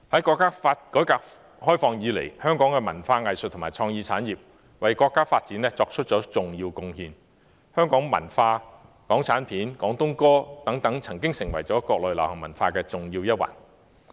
國家改革開放以來，香港的文化藝術和創意產業為國家發展作出了重要貢獻，香港文化、港產片和廣東歌等曾經成為國內流行文化的重要一環。